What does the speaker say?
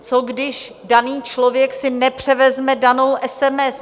Co když daný člověk si nepřevezme danou SMS?